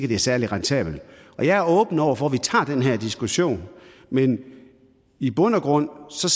det er særlig rentabelt jeg er åben over for at vi tager den her diskussion men i bund og grund